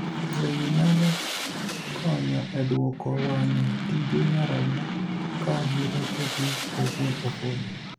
Yore gii nyalo konyo e duoko wang'e tije nyarogno ka nyirokegi owuon opodho